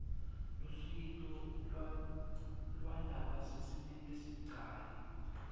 lusito lwalabasesimeni lesibucayi